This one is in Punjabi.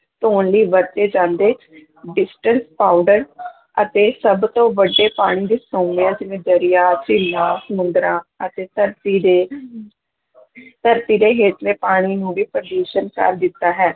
ਧੌਣ ਲਈ ਵਰਤੇ ਜਾਂਦੇ ਡਿਟਰਜੈਂਟ ਪਾਊਡਰ ਅਤੇ ਸਭ ਤੋਂ ਵੱਡੇ ਪਾਣੀ ਦੇ ਸੋਮਿਆਂ ਜਿਵੇਂ ਦਰਿਆ ਝੀਲਾਂ, ਸਮੁੰਦਰਾਂ ਅਤੇ ਧਰਤੀ ਦੇ ਧਰਤੀ ਦੇ ਹੇਠਲੇ ਪਾਣੀ ਨੂੰ ਵੀ ਪ੍ਰਦੂਸ਼ਣ ਕਰ ਦਿੱਤਾ ਹੈ।